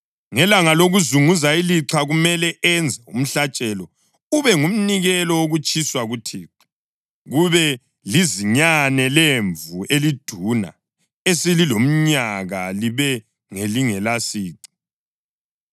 Ngelanga lokuzunguza ilixha kumele enze umhlatshelo ube ngumnikelo wokutshiswa kuThixo, kube lizinyane lemvu eliduna eselilomnyaka, libe ngelingelasici,